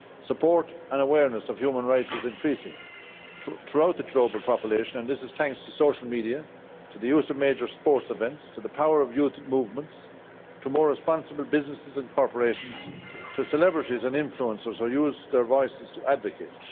Support and awareness of human rights is increasing throughout the global population and this is thanks to social media, to the use of major sports events, to the power of youth movements, to more responsible businesses and corporations, and to celebrities and influencers who use their voices to advocate.